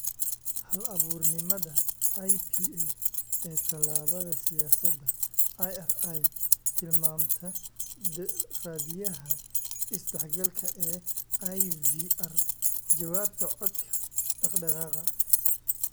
Hal-abuurnimada IPA ee Tallaabada Siyaasadda IRI Tilmaanta Raadiyaha Is-dhexgalka ee IVR Jawaabta Codka Dhaqdhaqaaqa